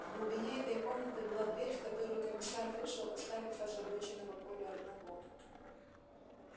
в глубине этой комнаты была дверь в которую комиссар вышел оставив озабоченного колю одного